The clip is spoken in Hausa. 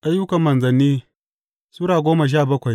Ayyukan Manzanni Sura goma sha bakwai